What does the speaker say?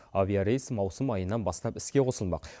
авиарейс маусым айынан бастап іске қосылмақ